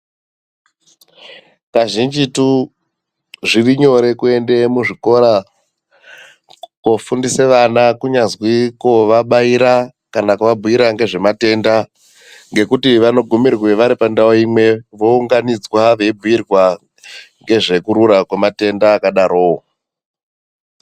Kazhinjitu zviri nyore kuende muzvikora kofundise vana kunyazwi kovabaira kana kuvabhuira ngezvematenda ngekuti vanogumirwe vari pandau imwe vounganidzwa veibhuirwa ngezvekurura kwematenda akadarowo.